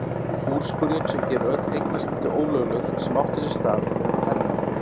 Úrskurðinn sem gerir öll eignaskipti ólögleg sem áttu sér stað meðan á hernámi